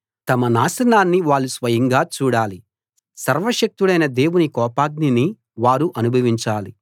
తమ నాశనాన్ని వాళ్ళు స్వయంగా చూడాలి సర్వశక్తుడైన దేవుని కోపాగ్నిని వారు అనుభవించాలి